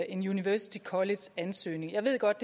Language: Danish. en university college ansøgning jeg ved godt